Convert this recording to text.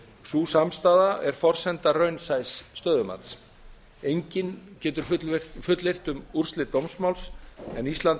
sú samstaða er forsenda raunsæs stöðumats enginn getur fullyrt um úrslit dómsmáls en ísland